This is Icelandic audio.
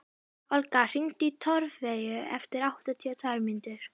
Olga, hringdu í Torfeyju eftir áttatíu og tvær mínútur.